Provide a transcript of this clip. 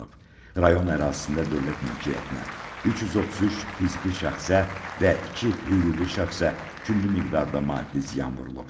Rayon ərazisində dövlət mülkiyyətinə, 333 fiziki şəxsə və iki hüquqi şəxsə külli miqdarda maddi ziyan vurulub.